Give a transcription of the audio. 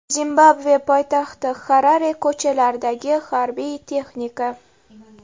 Zimbabve poytaxti Xarare ko‘chalaridagi harbiy texnika.